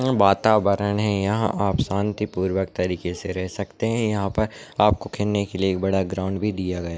वातावरण है यहा आप शान्ति पूर्वक तरीके से रह सखते है यहा पर आपको खेलने के लिए एक बड़ा ग्राउन्ड भी दिया गया --